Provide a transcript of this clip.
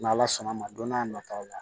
N' ala sɔnn'a ma don n'a nataw la